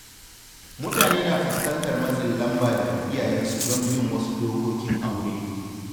Mutane na fuskantar matsin lamba daga iyayensu don bin wasu dokokin aure.